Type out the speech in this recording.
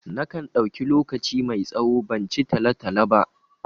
Na kan ɗauki lokaci mai tsawo ban ci talo-talo ba.